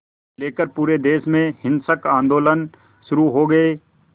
लेकर पूरे देश में हिंसक आंदोलन शुरू हो गए